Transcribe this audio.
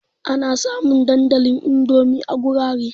Ana samun dandalin Indomi a gurare.